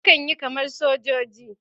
Yakan yi kamar sojoji.